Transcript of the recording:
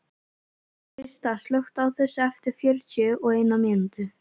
Krista, slökktu á þessu eftir fjörutíu og eina mínútur.